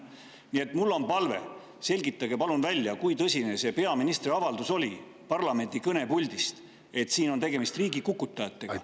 Nii et mul on palve: palun selgitage välja, kui tõsine see peaministri avaldus oli parlamendi kõnepuldist, et siin on tegemist riigikukutajatega …